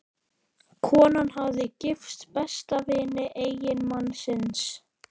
Konan hafði gifst besta vini eiginmannsins.